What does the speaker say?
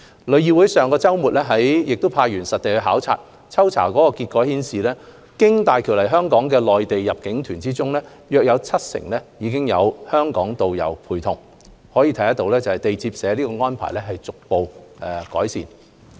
旅議會上周末亦派員實地考察，抽查結果顯示，經大橋來港的內地入境團中，約七成有香港導遊陪同，可見地接社的安排已逐步改善。